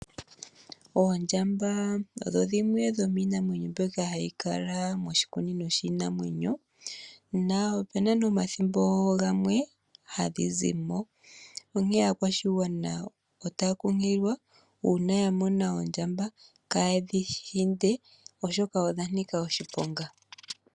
Oondjamba odho dhimwe dhomiinamwenyo mbyoka hayi kala moshikunino shiinamwenyo na opuna ne omathimbo gamwe hadhi zimo, onkee aakwashigwana otaya kunkililwa uuna ya mona oondjamba, kaa yedhi hinde oshoka odha nika oshiponga.